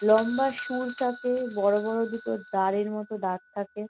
লম্বা শুঁড় থাকে বড়ো বড়ো দুটো দ্বারের মতো দাঁত থাকে।